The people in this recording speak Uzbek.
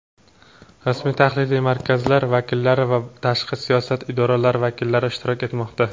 rasmiy tahliliy markazlar vakillari va tashqi siyosat idoralari vakillari ishtirok etmoqda.